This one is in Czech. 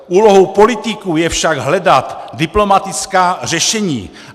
Úlohou politiků je však hledat diplomatická řešení.